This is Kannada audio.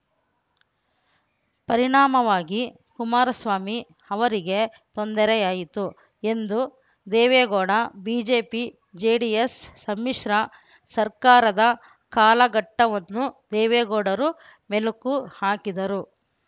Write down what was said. ಪರಿಣಾಮವಾಗಿ ಕುಮಾರಸ್ವಾಮಿ ಅವರಿಗೆ ತೊಂದರೆಯಾಯಿತು ಎಂದು ದೇವೇಗೌಡ ಬಿಜೆಪಿಜೆಡಿಎಸ್‌ ಸಮ್ಮಿಶ್ರ ಸರ್ಕಾರದ ಕಾಲಘಟ್ಟವನ್ನು ದೇವೇಗೌಡರು ಮೆಲುಕು ಹಾಕಿದರು